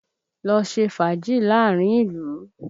Lọ ṣe fàájì láàárín ìlú!